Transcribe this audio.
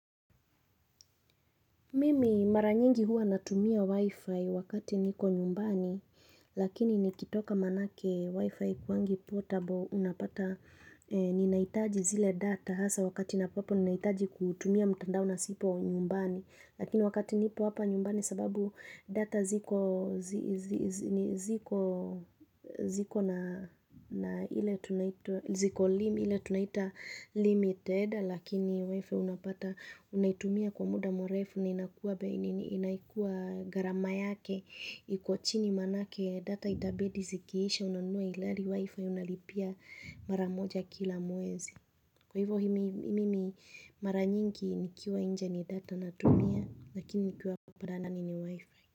Mimi mara nyingi hua natumia wifi wakati niko nyumbani lakini nikitoka maanake wifi haikuangi portable unapata ninahitaji zile data hasa wakati na ambapo ninahitaji kutumia mtandao nasipo nyumbani. Lakini wakati nipo hapa nyumbani sababu data ziko na ile tunaita limited lakini wifi unapata unaitumia kwa muda mrefu ni inaikuwa gharama yake iko chini maanake data itabidi zikiisha unanunua ila wifi unalipia mara moja kila mwezi. Kwa hivyo mimi mara nyingi nikiwa nje ni data natumia lakini nikiwa ndani ni wifi.